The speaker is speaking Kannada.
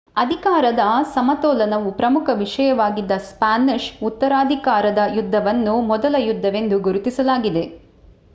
ಅಧಿಕಾರದ ಸಮತೋಲನವು ಪ್ರಮುಖ ವಿಷಯವಾಗಿದ್ದ ಸ್ಪಾನಿಷ್ ಉತ್ತರಾಧಿಕಾರದ ಯುದ್ಧವನ್ನು ಮೊದಲ ಯುದ್ಧವೆಂದು ಗುರುತಿಸಲಾಗಿದೆ